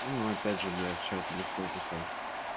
ну опять же блядь в чате легко писать